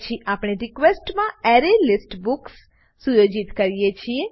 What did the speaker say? પછી આપણે રિક્વેસ્ટ માં એરેલિસ્ટ બુક્સ સુયોજિત કરીએ છીએ